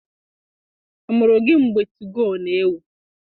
A muru gị mgbe 2go n'ewu?